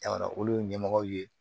Jamana olu ye ɲɛmɔgɔw ye